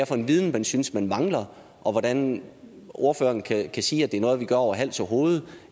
for en viden man synes man mangler og hvordan ordføreren kan sige at det er noget vi gør over hals og hoved